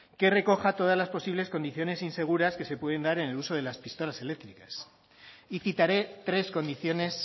que recoja todas las posibles situaciones inseguras que se pueden dar en el uso de las pistolas eléctricas y citaré tres condiciones